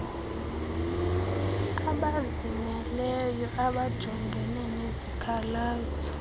abazimeleyo abajongene nezikhalazo